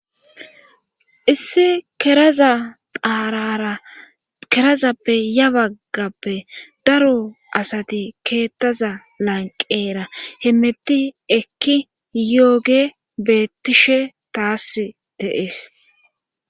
issi keraza aarara kerazappe ya baggappe daro asati keettaza lanqeera hemmetti ekki yooge beettishe taass deees